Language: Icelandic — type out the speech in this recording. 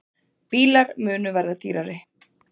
Bílar munu verða dýrari